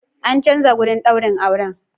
An canza wurin daurin aure.